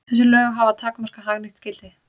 Þessi lög hafa takmarkað hagnýtt gildi.